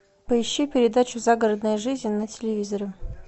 поищи передачу загородная жизнь на телевизоре